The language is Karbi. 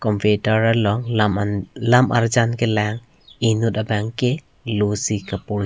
computer along lam arjan kelang enut bang ke loh si kaporhi.